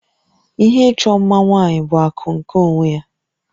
Ihe ịchọ mma nwaanyị bụ akụ nke onwe ya